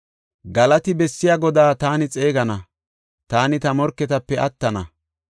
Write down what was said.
Galati bessiya Godaa taani xeegana; taani ta morketape attana.